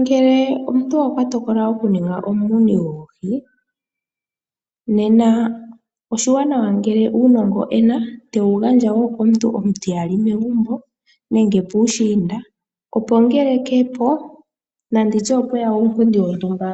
Ngele omuntu okwatokolo oku ninga omuni goohi , nena oshiwanawa ngele uunongo ena te wu gandja wo komuntu omutiyali megumbo nenge puushiinda opo ngele keepo, nanditye opweya uunkundi wontumba